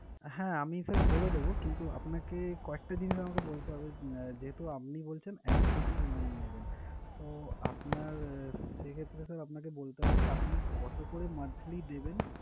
হ্যাঁ, আমি sir বলে দেবো কিন্তু আপনাকে কয়েকটা জিনিস আমাকে বলতে হবে। যেহেতু আপনি বলছেন এক কোটি loan নেবেন, তো আপনার সেক্ষেত্রে sir আপনাকে বলতে হবে যে আপনি কতো করে monthly দেবেন?